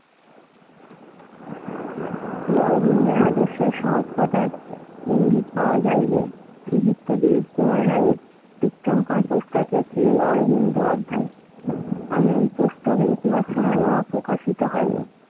শ্রী অরবিন্দের আদর্শ সংস্পর্শতায় ইঙ্গিত পাওয়া যায় যে, বিহিত্ত দিলীপ কুমার রায়ের চিত্রাঙ্কর পোস্টারে শ্রী অরবিন্দ অধ্যায় আমি পুস্তক লিখিবার সময় ও আর প্রকাশিত হয় নাই।